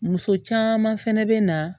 Muso caman fɛnɛ bɛ na